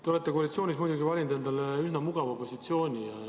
Te olete koalitsioonis muidugi valinud endale üsna mugava positsiooni.